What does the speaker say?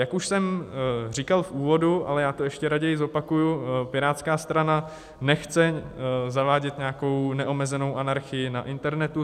Jak už jsem říkal v úvodu, ale já to ještě raději zopakuji, Pirátská strana nechce zavádět nějakou neomezenou anarchii na internetu.